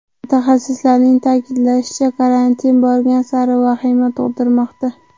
Mutaxassislarning ta’kidlashicha, karantin borgan sari vahima tug‘dirmoqda.